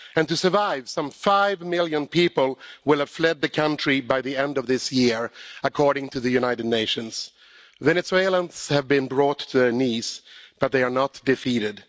To survive, some five million people will have fled the country by the end of this year, according to the United Nations. Venezuelans have been brought to their knees but they are not defeated.